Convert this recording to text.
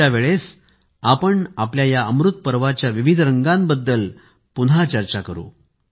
पुढच्या वेळेस आपण आपल्या या अमृतपरवाच्या विविध रंगांबद्दल पुन्हा चर्चा करू